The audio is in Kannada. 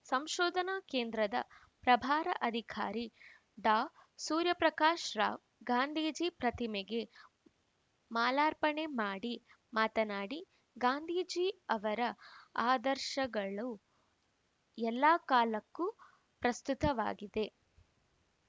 ಸಂಶೋಧನಾ ಕೇಂದ್ರದ ಪ್ರಭಾರ ಅಧಿಕಾರಿ ಡಾಸೂರ್ಯಪ್ರಕಾಶ್‌ ರಾವ್‌ ಗಾಂಧೀಜಿ ಪ್ರತಿಮೆಗೆ ಮಾಲಾರ್ಪಣೆ ಮಾಡಿ ಮಾತನಾಡಿ ಗಾಂಧೀಜಿ ಅವರ ಆದರ್ಶಗಳು ಎಲ್ಲ ಕಾಲಕ್ಕೂ ಪ್ರಸ್ತುತವಾಗಿದೆ